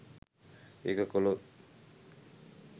ඒක කළොත්